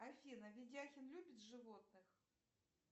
афина ведяхин любит животных